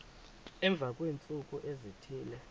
emva kweentsuku ezithile